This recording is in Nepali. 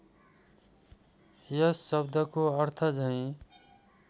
यस शब्दको अर्थझैं